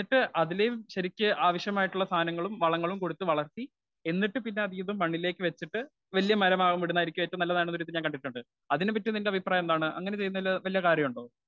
Speaker 1 എന്നിട്ടു അതിനെയും ശരിക്ക് ആവശ്യമായിട്ടുള്ള സാധനങ്ങളും വളങ്ങളും കൊടുത്തു വളർത്തി എന്നിട്ടു പിന്നെ ഇത് മണ്ണിലേക്ക് വെച്ചിട്ട് വല്യ മരമാവാൻ വിടുന്നതാണ് ഏറ്റവും നല്ലതാണന്നൊരിതു ഞാൻ കണ്ടിട്ടുണ്ട്. അതിനെ പറ്റിയുള്ള നിന്റെ അഭിപ്രായം എന്താണ്? അങ്ങനെ ചെയ്യുന്നതിൽ വല്ല കാര്യവുമുണ്ടോ